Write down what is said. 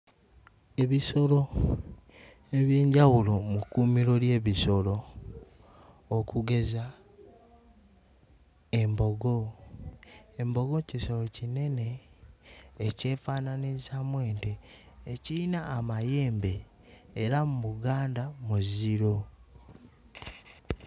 Ebisolo eby'enjawulo mu kkuumiro ly'ebisolo okugeza embogo, embogo kisolo kinene ekyefanaanirizaamu ente, ekiyina amayembe era mu Buganda muziro.